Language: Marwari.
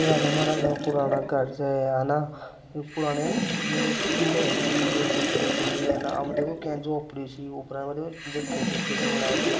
राजा महाराजा का पुराना घर छे है ना पुराणी महल की चब्बे चहिये है और आ म देखो किंया झोपडी उपर देखो छतरी सी बनायेड़ी छे।